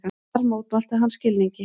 Þar mótmælti hann skilningi